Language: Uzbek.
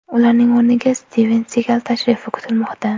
Ularning o‘rniga Stiven Sigal tashrifi kutilmoqda.